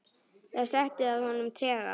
Það setti að honum trega.